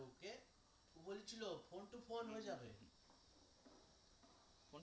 বলছিল phone to phone হয়ে যাবে